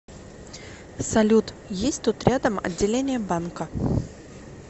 салют есть тут рядом отделение банка